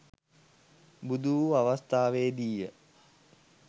බුදු වූ අවස්ථාවේ දී ය.